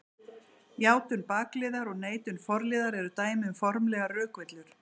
Játun bakliðar og neitun forliðar eru dæmi um formlegar rökvillur.